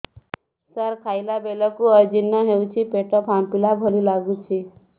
ସାର ଖାଇଲା ବେଳକୁ ଅଜିର୍ଣ ହେଉଛି ପେଟ ଫାମ୍ପିଲା ଭଳି ଲଗୁଛି